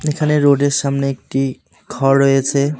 এখানে রোডের সামনে একটি ঘর রয়েছে।